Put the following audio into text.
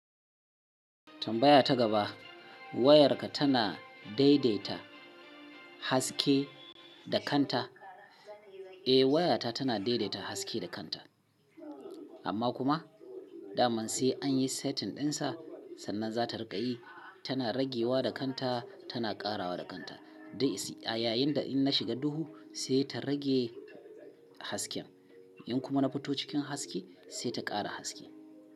Tambaya ta gaba, wayarka tana daidaita haske da kanta? Eh, wayata tana daidaita haske da kanta. Amma kuma, dama sai an yi setting ɗinsa, sannan za ta riƙa yi. Tana ragewa da kanta, tana ƙarawa da kanta. Da a yayin da in na shiga duhu sai ta rage hasken. In kuma na fito cikin haske sai ta ƙara haske.